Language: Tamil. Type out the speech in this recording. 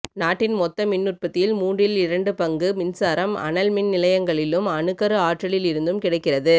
நாட்டின் மொத்த மின்னுற்பத்தியில் மூன்றில் இரண்டு பங்கு மின்சாரம் அனல் மின் நிலையங்களிலும் அணுக்கரு ஆற்றலில் இருந்தும் கிடைக்கிறது